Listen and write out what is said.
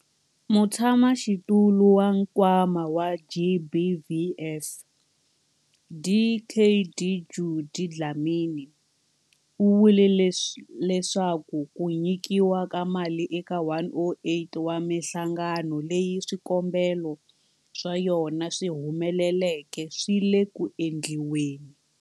Mutshamaxitulu wa Nkwama wa GBVF, Dkd Judy Dlamini, u vule leswaku ku nyikiwa ka mali eka 108 wa mihlangano leyi swikombelo swa yona swi humeleleke swi le ku endliweni.